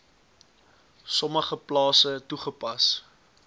sommige plase toegepas